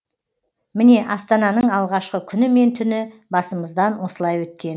міне астананың алғашқы күні мен түні басымыздан осылай өткен